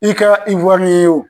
I kɛla Iwriyɛn wo